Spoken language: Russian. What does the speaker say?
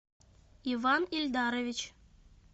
иван ильдарович